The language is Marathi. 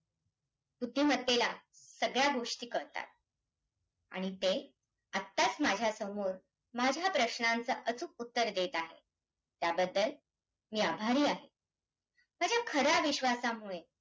बुद्धिमत्तेला सगळ्या गोष्टी कळतात आणि ते आताच माझ्यासमोर माझ्या प्रश्नांचं अचूक उत्तर देतं आहे, त्याबद्दल मी आभारी आहे. माझ्या खऱ्या विश्वासामुळे